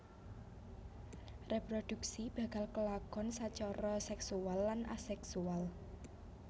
Reproduksi bakal kelakonsacara seksual lan aseksual